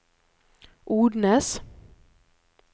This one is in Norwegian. Odnes